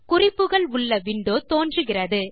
குறிப்புகள் உள்ள விண்டோ தோன்றுகிறது